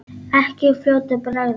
Ekki í fljótu bragði.